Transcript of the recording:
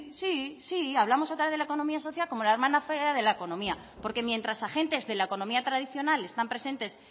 sí sí hablamos otra vez de la economía social como la hermana fea de la economía porque mientras agentes de la economía tradicional están presentes